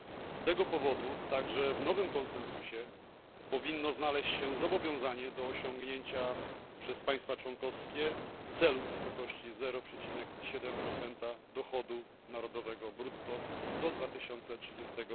Z tego powodu także w nowym konsensusie powinno znaleźć się zobowiązanie do osiągnięcia przez państwa członkowskie celu w wysokości 0,7 dochodu narodowego brutto do 2030